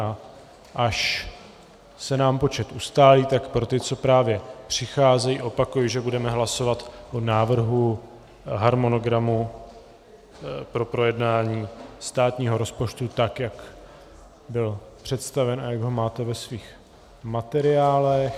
a až se nám počet ustálí, tak pro ty, co právě přicházejí, opakuji, že budeme hlasovat o návrhu harmonogramu pro projednání státního rozpočtu, tak jak byl představen a jak ho máte ve svých materiálech...